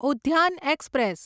Udyan express